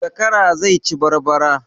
Zakara zai ci barbara